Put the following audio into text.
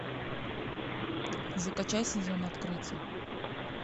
закачай сезон открытий